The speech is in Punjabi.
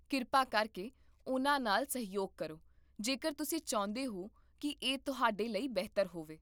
ਕਿਰਪਾ ਕਰਕੇ ਉਹਨਾਂ ਨਾਲ ਸਹਿਯੋਗ ਕਰੋ, ਜੇਕਰ ਤੁਸੀਂ ਚਾਹੁੰਦੇ ਹੋ ਕਿ ਇਹ ਤੁਹਾਡੇ ਲਈ ਬਿਹਤਰ ਹੋਵੇ